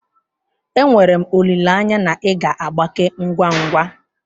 Enwere m olileanya na ị ga-agbake ngwa ngwa.